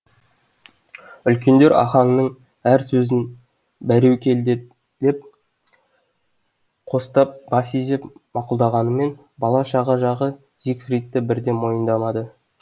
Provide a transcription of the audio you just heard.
үлкендер ахаңның әр сөзін бәреукелділеп қостап бас изеп мақұлдағанымен бала шаға жағы зигфридті бірден мойындамады